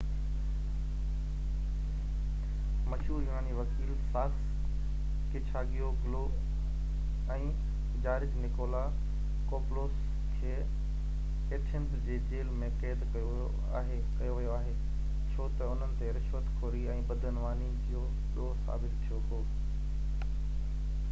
مشهور يوناني وڪيل ساڪس ڪيچاگيوگلو ۽ جارج نڪولاڪوپولوس کي ايٿنز جي جيل ۾ قيد ڪيو ويو آهي ڇو تہ انهن تي رشوت خوري ۽ بدعنواني جو ڏوه ثابت ٿيو هو